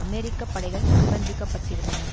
அமெரிக்க படைகள் நிர்பந்திக்கப்பட்டிருந்தன